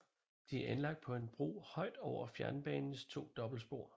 De er anlagt på en bro højt over fjernbanens to dobbeltspor